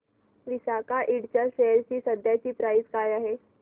विसाका इंड च्या शेअर ची सध्याची प्राइस काय आहे